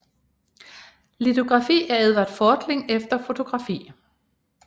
Litografi af Edvard Fortling efter fotografi